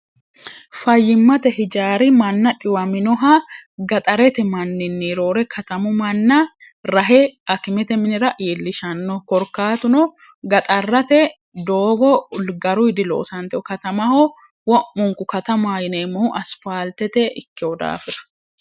fayyimmate hijaari manna dhiwaminoha gaxarete manninni roore katamu manna rahe akimete minira yiillishanno korkaatuno gaxarrate doobo ulgaru hidiloosanteho katamaho womunku katamayineemmohu asfaaltete ikkehu daafira